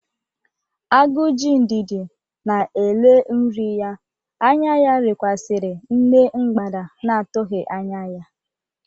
Agu ji ndidi na-ele nri ya, anya ya lekwasiri nne mgbada na-atụghị anya ya.